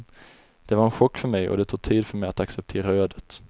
Det var en chock för mig och det tog tid för mig att acceptera ödet.